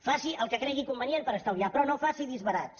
faci el que cregui convenient per estalviar però no faci disbarats